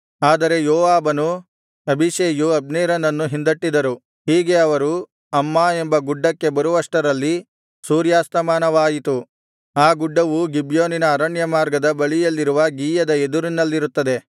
ಆದರೆ ಯೋವಾಬನೂ ಅಬೀಷೈಯೂ ಅಬ್ನೇರನನ್ನು ಹಿಂದಟ್ಟಿದರು ಹೀಗೆ ಅವರು ಅಮ್ಮಾ ಎಂಬ ಗುಡ್ಡಕ್ಕೆ ಬರುವಷ್ಟರಲ್ಲಿ ಸೂರ್ಯಾಸ್ತಮಾನವಾಯಿತು ಆ ಗುಡ್ಡವು ಗಿಬ್ಯೋನಿನ ಅರಣ್ಯ ಮಾರ್ಗದ ಬಳಿಯಲ್ಲಿರುವ ಗೀಯದ ಎದುರಿನಲ್ಲಿರುತ್ತದೆ